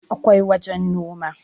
akwai wajen Noma